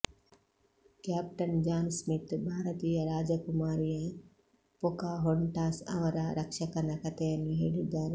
captain John Smith ಭಾರತೀಯ ರಾಜಕುಮಾರಿಯ Pocahontas ಅವರ ರಕ್ಷಕನ ಕಥೆಯನ್ನು ಹೇಳಿದ್ದಾರೆ